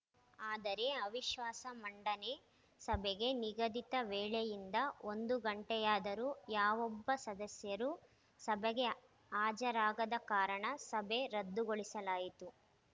ಆದರೆ ಅವಿಶ್ವಾಸ ಮಂಡನೆ ಸಭೆಗೆ ನಿಗದಿತ ವೇಳೆಯಿಂದ ಒಂದು ಗಂಟೆಯಾದರೂ ಯಾವೊಬ್ಬ ಸದಸ್ಯರೂ ಸಭೆಗೆ ಹಾಜರಾಗದ ಕಾರಣ ಸಭೆ ರದ್ದುಗೊಳಿಸಲಾಯಿತು